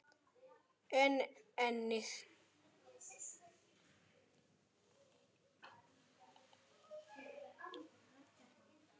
en einnig